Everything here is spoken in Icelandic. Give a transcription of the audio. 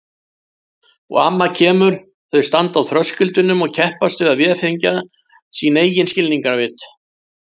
Og amma kemur, þau standa á þröskuldinum og keppast við að véfengja sín eigin skilningarvit.